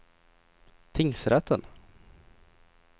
tingsrätten